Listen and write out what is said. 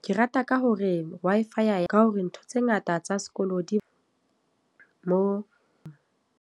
Ke rata ka hore Wi-Fi, ka hore ntho tse ngata tsa sekolo di mo.